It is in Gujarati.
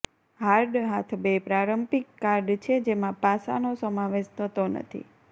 હાર્ડ હાથ બે પ્રારંભિક કાર્ડ છે જેમાં પાસાનો સમાવેશ થતો નથી